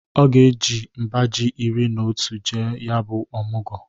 Ọ ga-eji mba ji iri n'otu jee ya bụ ọmụgọ.